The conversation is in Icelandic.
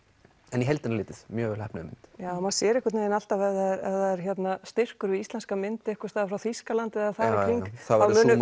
en í heildina litið mjög vel heppnuð mynd já maður sér einhvern vegin alltaf ef það er styrkur við íslenska mynd einhvers staðar frá Þýskalandi eða þar í hring þá munu